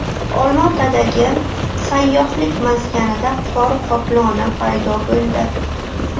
Olmaotadagi sayyohlik maskanida qor qoploni paydo bo‘ldi.